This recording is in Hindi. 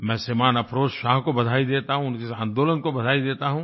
मैं श्रीमान् अफरोज़ शाह को बधाई देता हूँ इस आंदोलन को बधाई देता हूँ